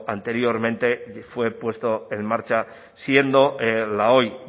anteriormente fue puesto en marcha siendo la hoy